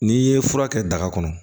N'i ye fura kɛ daga kɔnɔ